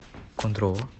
кондрово